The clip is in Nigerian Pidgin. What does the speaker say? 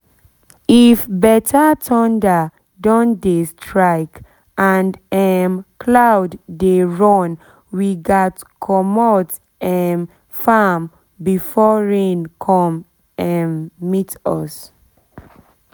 if better thunder don dey strike and um cloud dey run we gat commot um farm before rain come um meet us